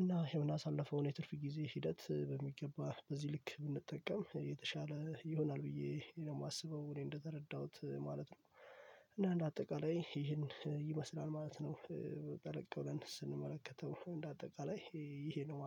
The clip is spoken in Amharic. እና የምናሳልፈው የትርፍ ጊዜ ሂደት በሚገባ በዚህ ልክ ብንጠቀም የተሻለ ይሆናል ብዬ ነው የማስበው እኔ እንደተረዳሁት ማለት ነው። አና አንደ አጠቃላይ ይህን ይመስላል ማለት ነው። ጠለቅ ብለን ስንመለከተው እንደ አጠቃላይ ይሄ ነው።